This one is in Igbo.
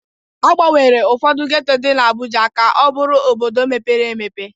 Agbanwere ụfọdụ geto dị n'Abuja ka ọ bụrụ obodo mepere emepe.